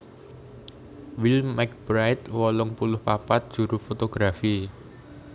Will McBride wolung puluh papat juru fotografi